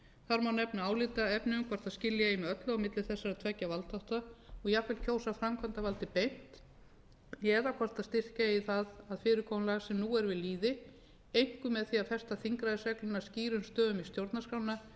þar má nefna álitaefni um hvort skilja eigi með öllu á milli þessara tveggja valdþátta og jafnvel kjósa framkvæmdarvaldið beint eða hvort styrkja eigi það að fyrirkomulag sem nú er við lýði einkum með því að festa þingræðisregluna skýrum stöfum í stjórnarskrá